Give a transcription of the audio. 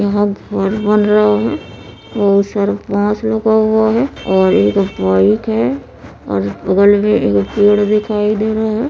यहां घर बन रहा है बहुत सारा बांस लगा हुआ है और एक बाइक है और बगल में एगो पेड़ दिखाई दे रहा है।